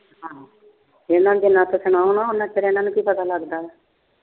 ਇਹਨਾਂ ਨੂੰ ਗੱਲਾਂ ਨਾ ਸੁਣਾਓ ਨਾ ਉਨਾ ਚਿਰ ਕੀ ਪਤਾ ਲੱਗਦਾ।